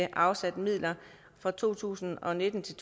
afsat midler for to tusind og nitten til